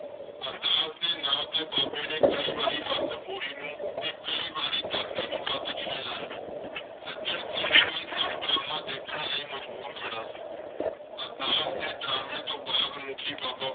ਅਰਦਾਸ ਦੇ ਨਾਂ ਤੇ ਬਾਬੇ ਨੇ ਕਈ ਵਾਰੀ ਹੱਥ ਬੋਰੀ ਨੂੰ ਤੇ ਕਈ ਵਾਰੀ ਧਰਤੀ ਨੂੰ ਹੱਥ ਜਿਹੇ ਲਾਏ। ਸੱਜਣ ਸਿੰਘ ਇਹ ਸਭ ਡਰਾਮਾ ਦੇਖਣ ਲਈ ਮਜਬੂਰ ਖੜ੍ਹਾ ਸੀ। ਅਰਦਾਸ ਦੇ ਡਰਾਮੇ ਤੋਂ ਬਾਅਦ ਮੁੱਖੀ ਬਾਬਾ।